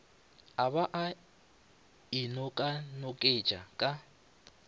a ba a inokanoketša ka